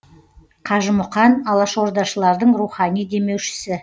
қажымұқан алашордашылардың рухани демеушісі